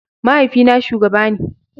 Mahaifina shugaba ne.